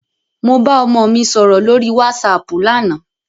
Mo bá ọmọ mi sọ̀rọ̀ lórí wásaàpù lánàá.